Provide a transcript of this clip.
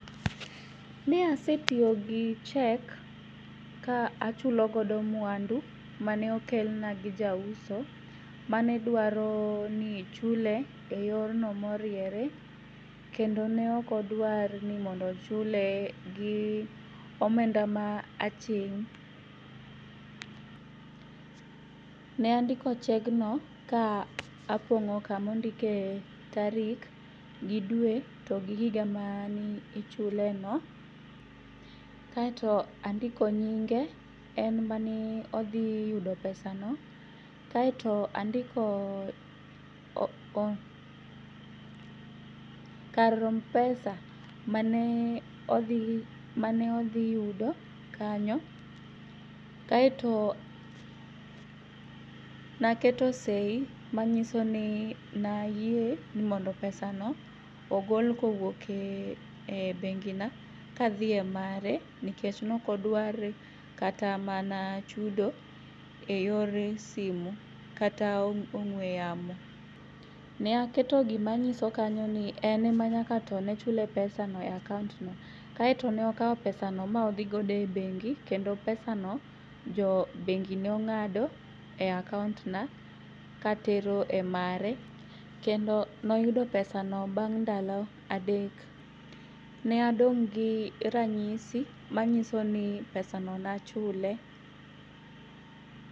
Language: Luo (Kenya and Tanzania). Ne asetiyogi cheque ka achulogodo muandu maneokelna gi jauso manedwaroni ochule e yorno moriere kendo neokodwar ni mondo ochule gi omenda ma aching' .Ne andiko chegno ka apong'o kamondike tarik gidue to gigiga maniichuleno kae to andiko nyinge en maneodhi yudo pesano kae to andiko karom pesa mane odhi yudo kanyo, kaeto naketo sei manyisoni nayie ni mondo pesano ogol kowuoke bengina kadhie mare nekech nokodwar kata mana chudo e yor simu kata ong'ue yamo. Ne aketo gimanyisokano ni ene ma nyaka to nechule pesano e akaontno aetonokao pesano maodhigodo e bengi kendo pesano jo bengi nong'ado e akaontna katero e mare. Kendo noyudo pesano bang' ndalo adek .Ne adong' gi ranyisi manyisoni pesano nachule.